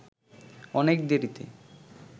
অনেক দেরিতে